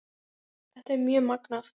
Þetta er mjög magnað.